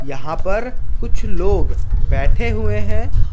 यहां पर कुछ लोग बैठे हुए हैं।